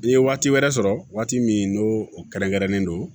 N'i ye waati wɛrɛ sɔrɔ waati min n'o kɛrɛnkɛrɛnnen don